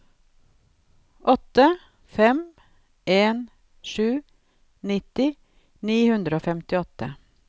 åtte fem en sju nitti ni hundre og femtiåtte